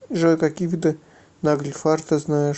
джой какие виды нагльфар ты знаешь